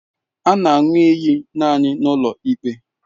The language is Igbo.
A na aṅụ iyi naanị n'ụlọ ikpe.